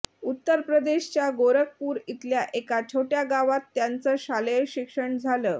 उत्तर प्रदेशच्या गोरखपूर इथल्या एका छोटया गावात त्यांचं शालेय शिक्षण झालं